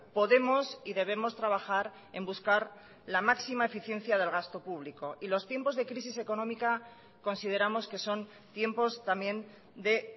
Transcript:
podemos y debemos trabajar en buscar la máxima eficiencia del gasto público y los tiempos de crisis económica consideramos que son tiempos también de